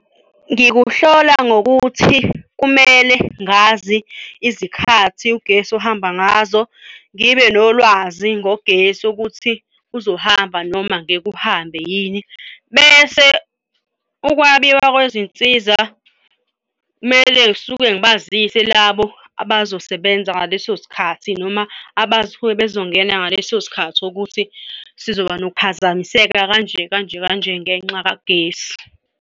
Ngikuhlola ngokuthi kumele ngazi izikhathi ugesi ohamba ngazo, ngibe nolwazi ngogesi ukuthi uzohamba noma ngeke uhambe yini. Bese ukwabiwa kwezinsiza kumele ngisuke ngibazise labo abazosebenza ngaleso sikhathi noma abasuke bazongena ngaleso sikhathi ukuthi sizoba nokuphazamiseka kanje kanje kanje ngenxa kagesi.